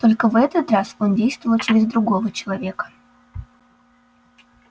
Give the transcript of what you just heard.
только в этот раз он действовал через другого человека